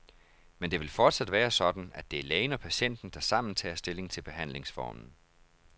Men det vil fortsat være sådan, at det er lægen og patienten, der sammen tager stilling til behandlingsformen.